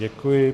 Děkuji.